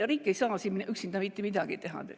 Riik ei saa siin üksinda mitte midagi teha.